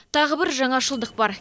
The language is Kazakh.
тағы бір жаңашылдық бар